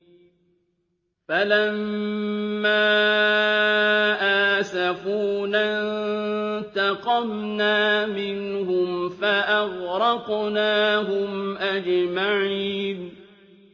فَلَمَّا آسَفُونَا انتَقَمْنَا مِنْهُمْ فَأَغْرَقْنَاهُمْ أَجْمَعِينَ